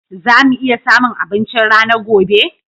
Za mu iya samun abinchin rana gobe?